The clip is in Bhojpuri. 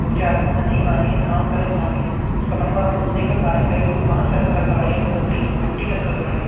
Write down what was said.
उ चार गो मनइ बाने काम करते बाड़े सामनावा आप लोगन देखल बाड़े कई एगो बांस रखे बाड़े उ कई गो लड़की के फटी रखले बाड़े।